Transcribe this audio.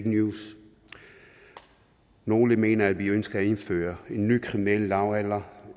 news nogle mener at vi ønsker at indføre en ny kriminel lavalder